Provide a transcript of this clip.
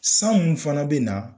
San mun fana bɛ na.